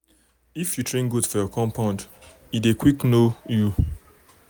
if you train goat for your compound for your compound e dey quick know you.